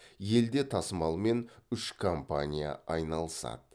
елде тасымалмен үш компания айналысады